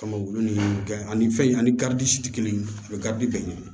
Kama u ni kɛ ani fɛn in ani si tɛ kelen ye a bɛ bɛɛ ɲini